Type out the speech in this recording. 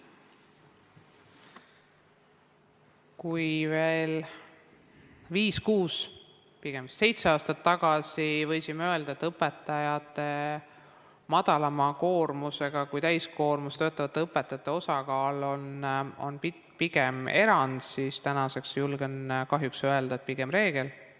Kui veel viis-kuus või seitse aastat tagasi võisime öelda, et madalama koormusega kui täiskoormusega töötav õpetaja on pigem erand, siis täna julgen kahjuks öelda, et pigem reegel.